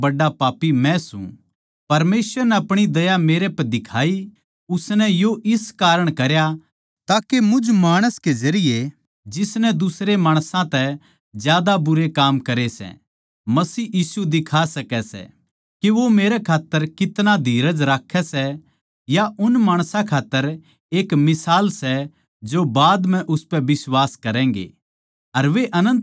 परमेसवर नै अपणी दया मेरे पै दिखाई उसनै यो इस कारण करया ताके मुझ माणस के जरिये जिसनै दुसरे माणसां तै ज्यादा बुरे काम करे सै मसीह यीशु दिखा सकै सै के वो मेरे खात्तर कितना धीरज राक्खै सै या उन माणसां खात्तर एक मिसाल सै जो बाद म्ह उसपै बिश्वास करैगें अर वे अनन्त जीवन पावैंगें